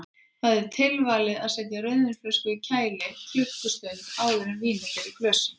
Því er tilvalið að setja rauðvínsflösku í kæli klukkustund áður en vínið fer í glösin.